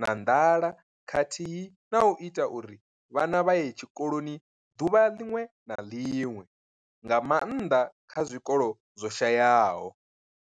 na nḓala khathihi na u ita uri vhana vha ye tshikoloni ḓuvha ḽiṅwe na ḽiṅwe, nga maanḓa kha zwikolo zwo shayaho.